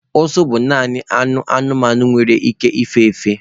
Ụsụ bụ naanị anụ anụmanụ nwere ike ịfefe